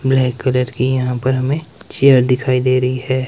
Black colour की यहां पर हमें चेयर दिखाई दे रही है।